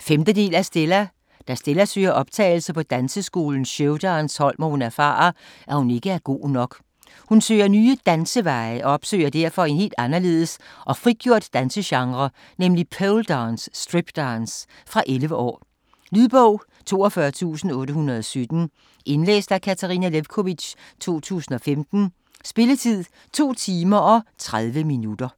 5. del af Stella. Da Stella søger optagelse på danseskolens showdance-hold, må hun erfare, at hun ikke er god nok. Hun søger nye "danseveje" og opsøger derfor en helt anderledes og frigjort dansegenre, nemlig poledance/stripdance. Fra 11 år. Lydbog 42817 Indlæst af Katarina Lewkovitch, 2015. Spilletid: 2 timer, 30 minutter.